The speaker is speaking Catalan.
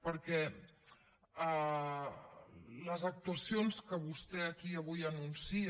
perquè les actuacions que vostè aquí avui anuncia